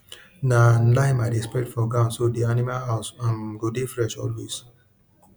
na lime i dey spread for ground so di animal house um go dey fresh always